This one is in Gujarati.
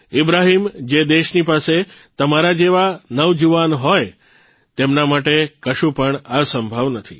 ઇબ્રાહીમ જે દેશની પાસે તમારા જેવા નવજુવાન હોય તેમના માટે કશું પણ અસંભવ નથી